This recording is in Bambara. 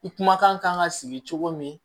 I kumakan kan ka sigi cogo min